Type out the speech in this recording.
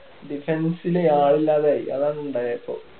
defence ല് ആളില്ലാതായി അതാണ് ഉണ്ടായേ ഇപ്പൊ